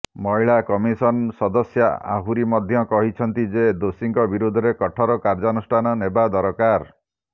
ମହିଳା କମିଶନ ସଦସ୍ୟା ଆହୁରୀ ମଧ୍ୟ କହିଛନ୍ତି ଯେ ଦୋଷୀଙ୍କ ବିରୋଧରେ କଠୋର କାର୍ଯ୍ୟାନୁଷ୍ଠାନ ନେବା ଦରକାର